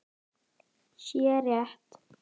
sé rétt.